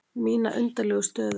Mína undarlegu stöðu.